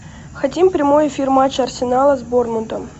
хотим прямой эфир матча арсенала с борнмутом